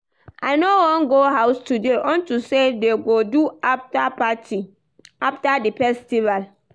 I no wan go house today unto say dey go do after party after the festival